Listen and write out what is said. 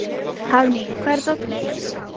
Hafný, hvar er dótið mitt?